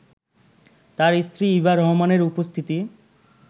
তাঁর স্ত্রী ইভা রহমানের উপস্থিতি